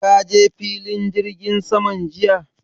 Ka je filin jirgin saman jiya?